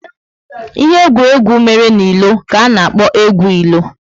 Ihe egwuregwu mere n'ilo ka a na-akpo egwu ilo